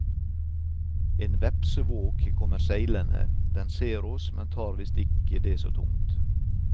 En vepsevåk kommer seilende, den ser oss, men tar visst ikke det så tungt.